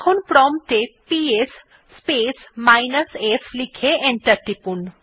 এখন প্রম্পট এ গিয়ে পিএস স্পেস মাইনাস f লিখে এন্টার টিপুন